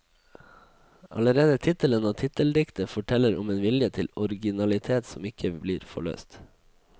Allerede tittelen og titteldiktet forteller om en vilje til originalitet som ikke blir forløst.